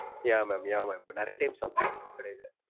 Yeah mam, yeah mam நிறையா time சாப்டுருக்கேன் உங்க கடைல.